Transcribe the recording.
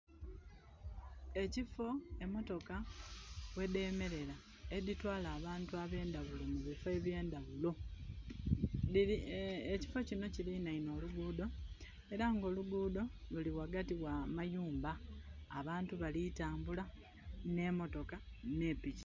Ekifo emotoka we demerera editwala abantu abendawulo mu bifo ebyendawulo. Ekifo kino kiliraine oluguudo era nga oluguudo luri wagati wa mayumba. Abantu bali tambula ne motoka ne piki